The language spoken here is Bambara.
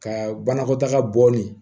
Ka banakɔtaga bɔ ni